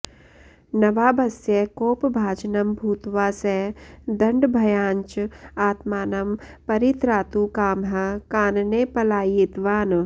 नवाबस्य कोपभाजनं भूत्वा स दण्डभयाञ्च आत्मानं परित्रातुकामः कानने पलायितवान्